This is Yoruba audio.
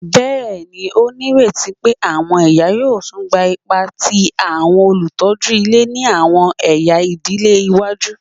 Bẹẹni, o nireti pe awọn iya yoo tun gba ipa ti awọn olutọju ile ni awọn ẹya idile iwaju